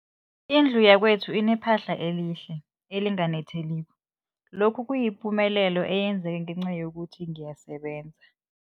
Indlu yakwethu inephahla elihle, elinganetheliko, lokhu kuyipumelelo eyenzeke ngenca yokuthi ngiyasebenza.